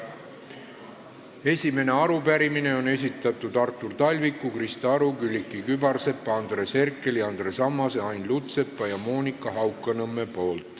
Esimese arupärimise on esitanud Artur Talvik, Krista Aru, Külliki Kübarsepp, Andres Herkel, Andres Ammas, Ain Lutsepp ja Monika Haukanõmm.